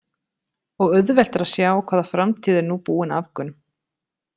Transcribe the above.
Og auðvelt er að sjá hvaða framtíð er nú búin Afgönum.